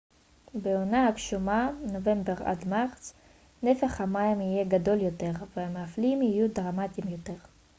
בעונה הגשומה נובמבר עד מרץ נפח המים יהיה גדול יותר והמפלים יהיו דרמטיים יותר